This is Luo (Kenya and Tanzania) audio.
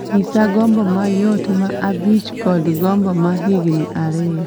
nyisa gombo mayot ma abich kod gombo ma higni ariyo